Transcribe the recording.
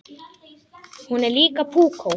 Hún er líka púkó.